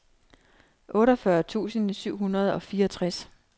otteogfyrre tusind syv hundrede og fireogtres